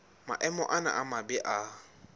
maemo ana a mabe a